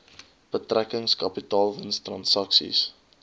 betrekking kapitaalwins transaksies